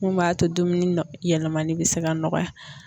Mun b'a to dumuni yɛlɛmani bɛ se ka nɔgɔya.